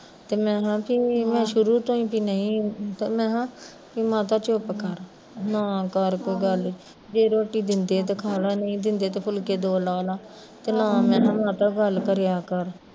ਤੇ ਮੈਂ ਕਿਹਾ ਵੀ ਮੈਂ ਸ਼ੁਰੂ ਤੋਂ ਈ ਵੀ ਨਹੀਂ ਮੈਂ ਕਿਹਾ, ਮਾਤਾ ਚੁੱਪ ਕਰ, ਨਾ ਕਰ ਕੋਈ ਗੱਲ, ਜੇ ਰੋਟੀ ਦਿੰਦੇ ਆ ਤੇ ਖਾਲਾ ਜੇ ਨਹੀਂ ਦਿੰਦੇ ਤੇ ਫੁਲਕੇ ਦੋ ਲਾਹ ਲਾ, ਨਾ ਮੈਂ ਕਿਹਾ ਮਾਤਾ ਗੱਲ ਕਰਿਆ ਕਰ